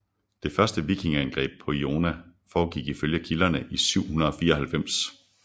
Det første vikingeangreb på Iona forgik ifølge kilderne i 794